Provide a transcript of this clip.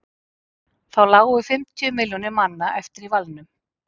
þá lágu fimmtíu milljónir manna eftir í valnum